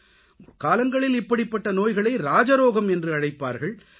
முற்காலங்களில் இப்படிப்பட்ட நோய்களை ராஜரோகம் என்று அழைப்பார்கள்